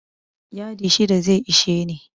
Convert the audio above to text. Yadi shida zai ishe ni.